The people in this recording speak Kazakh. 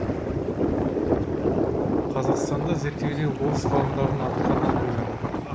қазақстанды зерттеуде орыс ғалымдарының атқарған рөлі